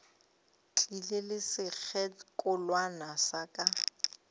tlile le sekgekolwana sa ka